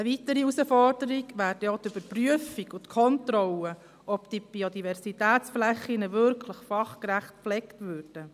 Eine weitere Herausforderung wäre dann auch die Überprüfung und Kontrolle, ob diese Biodiversitätsflächen wirklich fachgerecht gepflegt werden.